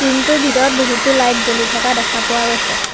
Room টোৰ ভিতৰত বহুতো লাইট জ্বলি থকা দেখা পোৱা গৈছে।